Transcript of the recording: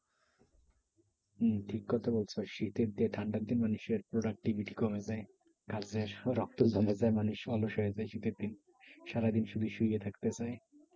হুম ঠিক কথা বলছো। শীতের যে ঠান্ডার দিন মানুষের productivity কমে যায়। রক্ত জমে যায় মানুষ মানুষের যে শীতের দিন সারাদিন শুধু শুয়ে থাকতে চায়।